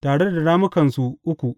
tare da rammukansu uku.